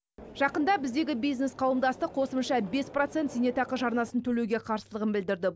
жақында біздегі бизнес қауымдастық қосымша бес процент зейнетақы жарнасын төлеуге қарсылығын білдірді